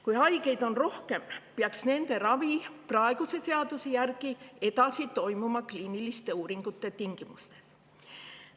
Kui haigeid on rohkem, siis peaks nende ravi praeguse seaduse järgi toimuma edasi kliiniliste uuringute tingimustes.